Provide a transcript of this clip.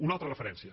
una altra referència